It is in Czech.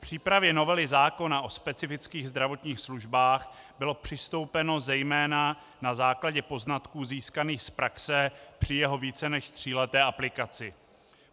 K přípravě novely zákona o specifických zdravotních službách bylo přistoupeno zejména na základě poznatků získaných z praxe při jeho více než tříleté aplikaci.